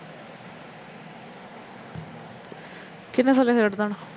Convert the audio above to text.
ਕਿਹਨੇ ਥੱਲੇ ਸਿਟਦੇਨਾ